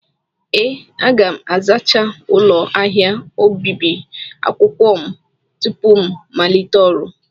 Ee, aga m azachaa ụlọ ahịa obibi akwụkwọ m tupu m malite ọrụ.